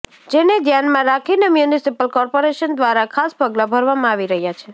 જેને ધ્યાનમાં રાખીને મ્યુનિસિપલ કોર્પોરેશન દ્વારા ખાસ પગલા ભરવામાં આવી રહ્યા છે